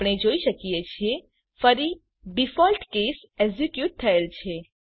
આપણે જોઈ શકીએ છીએ ફરી ડિફોલ્ટ કેસ એક્ઝીક્યુટ થયેલ છે